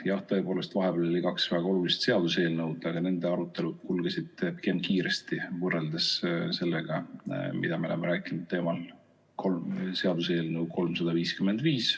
Jah, tõepoolest, vahepeal oli kaks väga olulist seaduseelnõu, aga nende arutelud kulgesid pigem kiiresti, võrreldes sellega, mida me oleme rääkinud seaduseelnõu 355 teemal ...